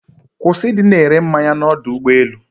Kwụsị ịdị na-ere mmanya n'ọdọ ụgbọelu.